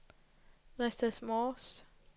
Redsted Mors